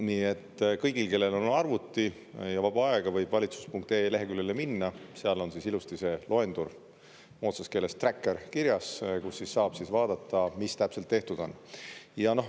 Nii et kõik, kellel on arvuti ja vaba aega, võivad valitsus.ee leheküljele minna, seal on ilusti see loendur – moodsas keeles träkker – kirjas, kus saab vaadata, mis täpselt tehtud on.